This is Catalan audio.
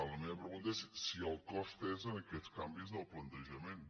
la meva pregunta és si el cost és en aquests canvis del plantejament